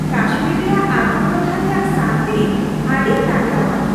ᱠᱟᱥᱢᱤᱨ ᱨᱮᱭᱟᱜ ᱟᱛᱳ ᱴᱚᱴᱷᱟ ᱨᱮᱭᱟᱜ ᱥᱟᱹᱱᱛᱤ ᱟᱹᱰᱤ ᱛᱟᱜᱲᱟᱣᱟ ᱾